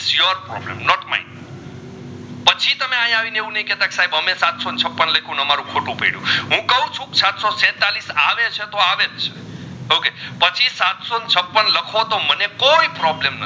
not mind પછી તમે અહીંયા આવીને એવું ના કહેતા કે સાહેબ તમે સાતસો છપ્પન લખ્યું ને ખોટું પડ્યું કહું છું સાતસો છેતાળીસ આવે છે તો અવેજ છે okay પછી સાતસો છપ્પન લખો તો મને કોઈન problem નથી